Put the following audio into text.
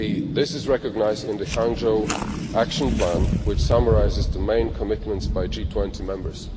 This is recognised in the Hangzhou Action Plan, which summarises the main commitments by G20 members.